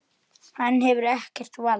Hann hefur ekkert vald.